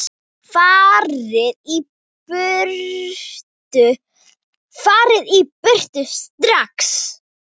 FARIÐ Í BURTU STRAX!